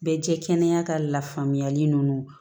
Bɛɛ jɛ kɛnɛya ka lafaamuyali nunnu